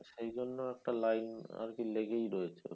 সেই জন্য একটা লাইন আরকি লেগেই রয়েছে।